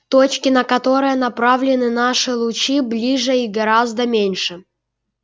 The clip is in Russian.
точки на которые направлены наши лучи ближе и гораздо меньше